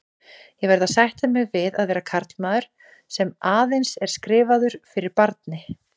Ég verð að sætta mig við að vera karlmaður, sem aðeins er skrifaður fyrir barni.